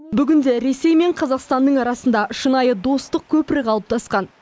бүгінде ресей мен қазақстанның арасында шынайы достық көпірі қалыптасқан